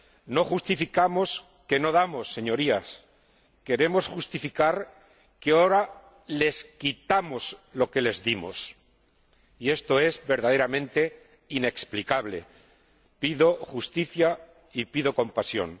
No justificamos que no damos, Señorías, pero queremos justificar que ahora les quitamos lo que les dimos, y esto es verdaderamente inexplicable. Pido justicia y pido compasión.